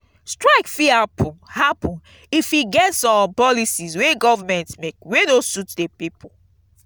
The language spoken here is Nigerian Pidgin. strike fit happen happen if e get some policies wey government make wey no suit the pipo